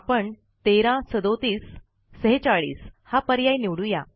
आपण 13 37 46 हा पर्याय निवडू या